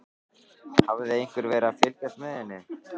Hafði einhver verið að fylgjast með henni?